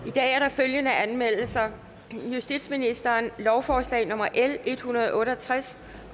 i dag er der følgende anmeldelser justitsministeren lovforslag nummer l en hundrede og otte og tres